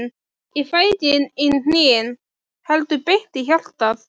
Ég fæ ekki í hnén, heldur beint í hjartað.